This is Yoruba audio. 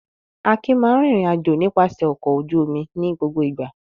Akin máa ń rìnrìn-àjò nípasẹ̀ ọkọ̀ ojú-omi ní gbogbo ìgbà.